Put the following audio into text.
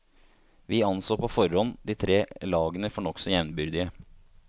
Vi anså på forhånd de tre lagene for nokså jevnbyrdige.